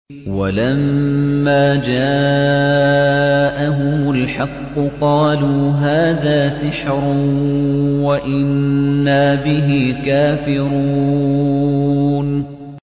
وَلَمَّا جَاءَهُمُ الْحَقُّ قَالُوا هَٰذَا سِحْرٌ وَإِنَّا بِهِ كَافِرُونَ